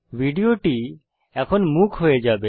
ভিডিওটি এখন মূক হয়ে যাবে